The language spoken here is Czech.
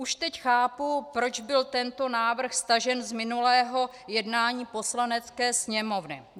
Už teď chápu, proč byl tento návrh stažen z minulého jednání Poslanecké sněmovny.